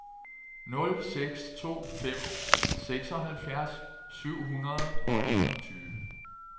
nul seks to fem seksoghalvfjerds syv hundrede og enogtyve